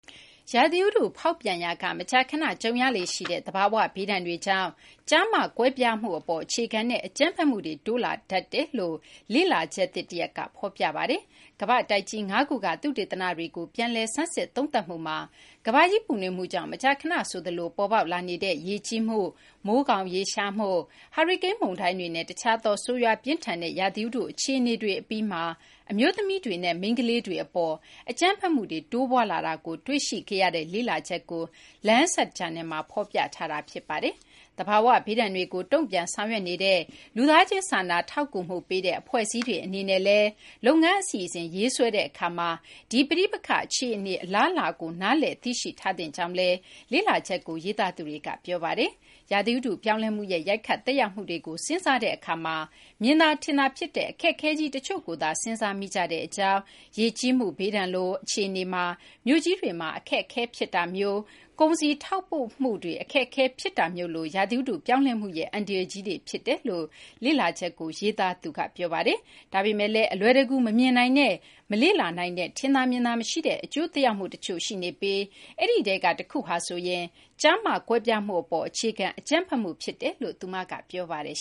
ရာသီဥတုဖောက်ပြန်ရာက မကြာခဏကြုံရလေ့ရှိတဲ့ သဘာ၀ ဘေးဒဏ်တွေကြောင့် ကျား-မ ကွဲပြားမှုအပေါ် အခြေခံတဲ့ အကြမ်းဖက်မှုတွေ တိုးလာတတ်တယ်လို့ လေ့လာချက်သစ် တရပ်က ဖော်ပြပါတယ်။ ကမ္ဘာ့တိုက်ကြီး ၅ ခုက သုတေသနတွေကို ပြန်လည်ဆန်းစစ် သုံးသပ်မှုမှာ ကမ ္ဘာကြီး ပူနွေးမှုကြောင့် မကြာခဏ ဆိုသလို ပေါ်ပေါက်လာနေတဲ့ ရေကြီးမှု၊ မိုးခေါင်ရေရရှားမှု၊ ဟာရီကိန်း မုန်တိုင်းတွေနဲ့ တခြားသော ဆိုးရွား ပြင်းထန်တဲ့ ရာသီဥတု အခြေအနေတွေ အပြီးမှာ အမျိုးသမီးတွေနဲ့ မိန်းကလေးတွေ အပေါ် အကြမ်းဖက်မှုတွေ တိုးပွားလာတာကို တွေ့ရှိခဲ့ရတဲ့ လေ့လာချက်ကို Lancet Planetary Health ဂျာနယ်မှာ ဖော်ပြထားတာ ဖြစ်ပါတယ်။ သဘာ၀ ဘေးဒဏ်တွေကို တုံ့ပြန် ဆောင်ရွက်နေတဲ့ လူသားချင်း စာနာထောက်ကူမှု ပေးတဲ့ အဖွဲ့အစည်းတွေ အနေနဲ့လည်း လုပ်ငန်း အစီအစဉ် ရေးဆွဲတဲ့ အခါမှာ ဒီ ပဋိပက္ခ အခြေအနေ အလားအလာကို နားလည် သိရှိထားသင့်ကြောင်းလည်း လေ့လာချက်ကို ရေးသားသူတွေက ပြောဆိုထားပါတယ်။ ရာသီဥတု ပြောင်းလဲမှုရဲ့ ရိုက်ခတ် သက်ရောက်မှုတွေကို စဉ်းစားတဲ့ အခါမှာ မြင်သာ ထင်သာ ဖြစ်တဲ့ အခက်အခဲကြီး တချို့ကိုသာ စဉ်စားမိကြကြောင်း၊ ရေကြီးမှု ဘေးဒဏ်လို အခြေအနေမှာ မြို့ကြီးတွေမှာ အခက်အခဲတွေ ဖြစ်တာမျိုး၊ ကုန်စည် ထောက်ပို့မှုတွေမှာ အခက်အခဲတွေ ဖြစ်တာမျိုးလို ရာသီဥတု ပြောင်းလဲမှုရဲ့ အန္တရာယ်ကြီးတွေ ဖြစ်တယ်လို့ လေ့လာချက်ကို ရေးသားသူ ကနေဒါ နိုင်ငံ Simon Fraser တက္ကသိုလ်က အများပြည်သူ ကျန်းမာရေးဆိုင်ရာ သုတေသနမှူး Sarah Savić Kallesøe က ပြောပါတယ်။ ဒါပေမယ့်လည်း အလွယ်တကူ မမြင်နိုင်တဲ့ မလေ့လာနိုင်တဲ့ ထင်သာမြင်သာ မရှိတဲ့ အကျိုးသက်ရောက်မှု တချို့ရှိနေပြီး အဲဒီထဲက တခုဟာဆိုရင် ကျား-မ ကွဲပြားမှုအပေါ် အခြေခံ အကြမ်းဖက်မှု ဖြစ်တယ်လို့လည်း သူက ပြောပါတယ်